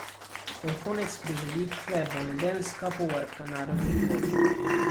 Vrhunec prireditve bo nedeljska povorka narodnih noš.